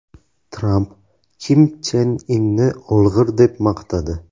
Tramp Kim Chen Inni olg‘ir deb maqtadi.